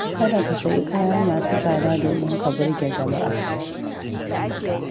Kada ka sayi kaya masu tsada domin ka burge jama'a.